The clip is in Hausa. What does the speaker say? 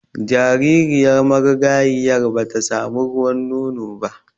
Jaririyar marigayiyar ba ta samu ruwan nono ba